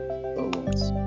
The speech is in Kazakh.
сау болыңыз